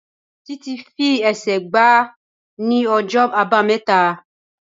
Títí fi ẹsẹ̀ gbá ní ọjọ́ Àbámẹ́ta.